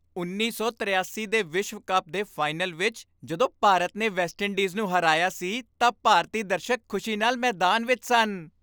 ਉੱਨੀ ਸੌ ਤਰਿਆਸੀ ਦੇ ਵਿਸ਼ਵ ਕੱਪ ਦੇ ਫਾਈਨਲ ਵਿੱਚ ਜਦੋਂ ਭਾਰਤ ਨੇ ਵੈਸਟਇੰਡੀਜ਼ ਨੂੰ ਹਰਾਇਆ ਸੀ ਤਾਂ ਭਾਰਤੀ ਦਰਸ਼ਕ ਖ਼ੁਸ਼ੀ ਨਾਲ ਮੈਦਾਨ ਵਿੱਚ ਸਨ